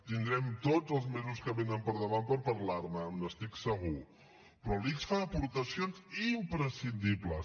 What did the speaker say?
tindrem tots els mesos que vénen per davant per parlar ne n’estic segur però l’ics fa aportacions imprescindibles